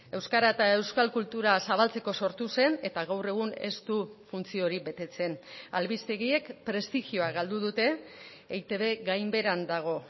euskara eta euskal kultura zabaltzeko sortu zen eta gaur egun ez du funtzio hori betetzen albistegiek prestigioa galdu dute eitb gainbeheran dago